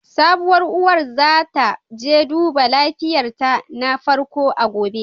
Sabuwar uwar za ta je duba lafiyarta na farko a gobe.